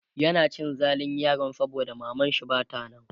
yana cin zalin yaron saboda mamanshi Bata nan